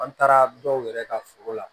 An taara dɔw yɛrɛ ka foro la